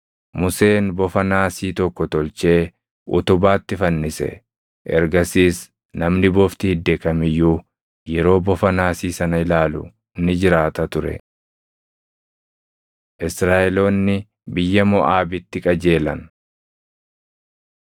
Museen bofa naasii tokko tolchee utubaatti fannise. Ergasiis namni bofti idde kam iyyuu yeroo bofa naasii sana ilaalu ni jiraata ture. Israaʼeloonni Biyya Moʼaabitti Qajeelan